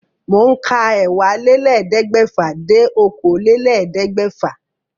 Mò ń ka ẹ́wàálélẹ́ẹ̀ẹ́dẹ́gbẹ́fà dé okòólélẹ́ẹ̀ẹ́dẹ́gbẹ́fà